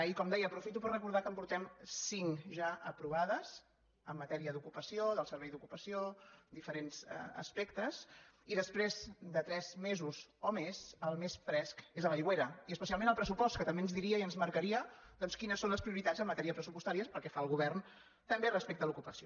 i com deia aprofito per recordar que en portem cinc ja d’aprovades en matèria d’ocupació del servei d’ocupació diferents aspectes i després de tres mesos o més el més fresc és a l’aigüera i especialment el pressupost que també ens diria i ens marcaria doncs quines són les prioritats en matèria pressupostària pel que fa al govern també respecte a l’ocupació